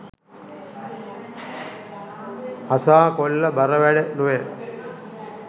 හසා කොල්ල බර වැඩ නොවැ